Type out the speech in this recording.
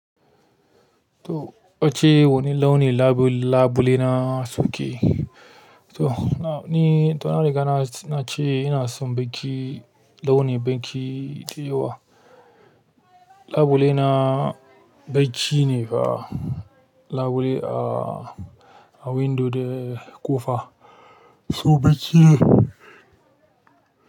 To wacce wani launin labule, labule na soke. To na, ni na riga na, na ce ina son baƙi launin baƙi yauwa. Labule na baƙi ne fa, labule a, a windo da ƙofa. So bakin.